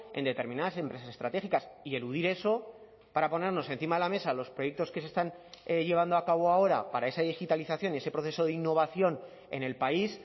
en determinadas empresas estratégicas y eludir eso para ponernos encima de la mesa los proyectos que se están llevando a cabo ahora para esa digitalización y ese proceso de innovación en el país